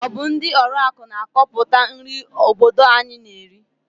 Ọ bụ ndị ọrụaka na-akọpụta nri obodo anyị na-eri?